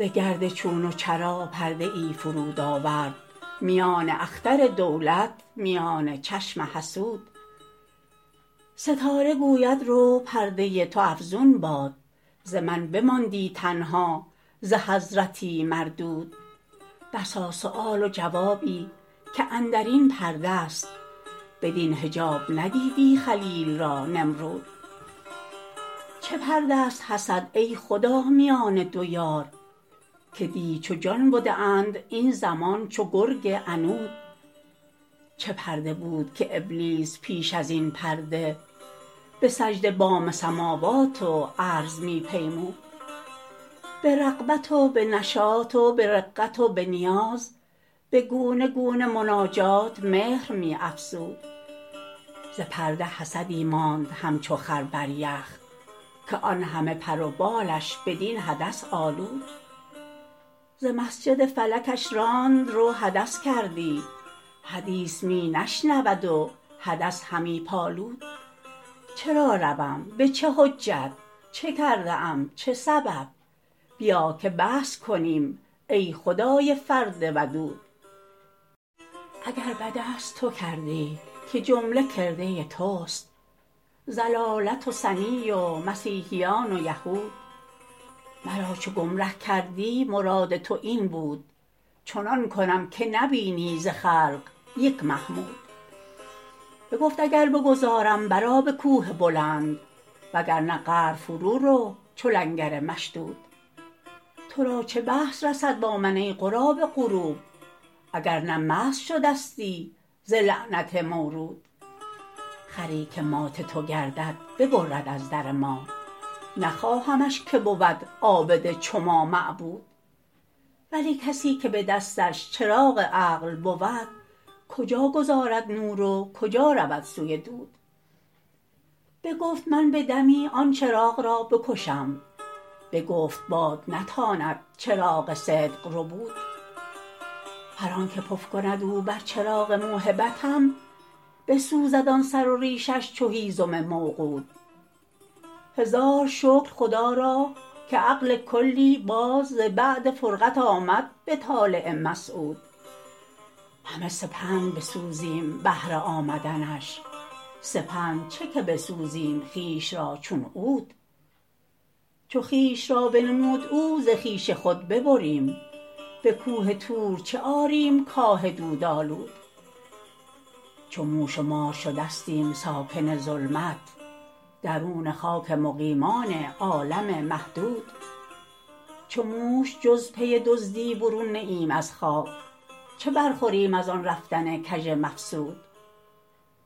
ز گرد چون و چرا پرده ای فرود آورد میان اختر دولت میان چشم حسود ستاره گوید رو پرده تو افزون باد ز من نماندی تنها ز حضرتی مردود بسا سال و جوابی که اندر این پرده ست بدین حجاب ندیدی خلیل را نمرود چه پرده است حسد ای خدا میان دو یار که دی چو جان بده اند این زمان چو گرگ عنود چه پرده بود که ابلیس پیش از این پرده به سجده بام سموات و ارض می پیمود به رغبت و به نشاط و به رقت و به نیاز به گونه گونه مناجات مهر می افزود ز پرده حسدی ماند همچو خر بر یخ که آن همه پر و بالش بدین حدث آلود ز مسجد فلکش راند رو حدث کردی حدیث می نشنود و حدث همی پالود چرا روم به چه حجت چه کرده ام چه سبب بیا که بحث کنیم ای خدای فرد ودود اگر به دست تو کردی که جمله کرده تست ضلالت و ثنی و مسیحیان و یهود مرا چه گمره کردی مراد تو این بود چنان کنم که نبینی ز خلق یک محمود بگفت اگر بگذارم برآ به کوه بلند وگر نه قعر فرورو چو لنگر مشدود تو را چه بحث رسد با من ای غراب غروب اگر نه مسخ شدستی ز لعنت مورود خری که مات تو گردد ببرد از در ما نخواهمش که بود عابد چو ما معبود ولی کسی که به دستش چراغ عقل بود کجا گذارد نور و کجا رود سوی دود بگفت من به دمی آن چراغ را بکشم بگفت باد نتاند چراغ صدق ربود هر آنک پف کند او بر چراغ موهبتم بسوزد آن سر و ریشش چو هیزم موقود هزار شکر خدا را که عقل کلی باز ز بعد فرقت آمد به طالع مسعود همه سپند بسوزیم بهر آمدنش سپند چه که بسوزیم خویش را چون عود چو خویش را بنمود او ز خویش خود ببریم به کوه طور چه آریم کاه دودآلود چو موش و مار شدستیم ساکن ظلمت درون خاک مقیمان عالم محدود چو موش جز پی دزدی برون نه ایم از خاک چه برخوریم از آن رفتن کژ مفسود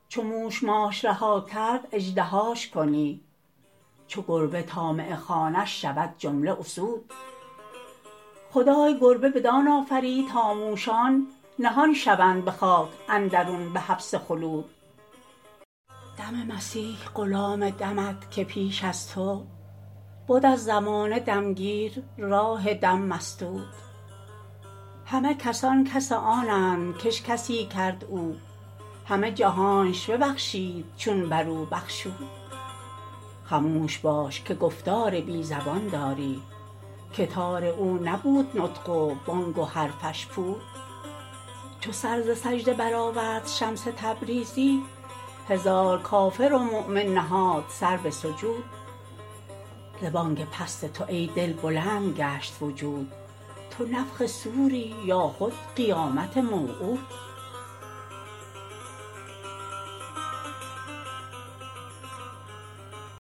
چو موش ماش رها کرد اژدهاش کنی چو گربه طالع خوانش شود جمله اسود خدای گربه بدان آفرید تا موشان نهان شوند به خاک اندرون به حبس خلود دم مسیح غلام دمت که پیش از تو بد از زمانه دم گیر راه دم مسدود همه کسان کس آنند کش کسی کرد او همه جهانش ببخشید چون بر او بخشود خموش باش که گفتار بی زبان داری که تار او نبود نطق و بانگ و حرفش پود چو سر ز سجده برآورد شمس تبریزی هزار کافر و مؤمن نهاد سر به سجود